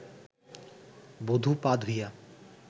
বধূ পা ধুইয়া